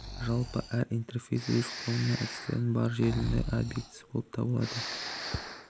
жалпы әр интерфейс өз құрылымы мен әдістері бар желі объектісі болып табылады